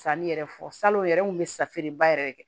Sanni yɛrɛ fɔ salo o yɛrɛ n kun be safeba yɛrɛ de kɛ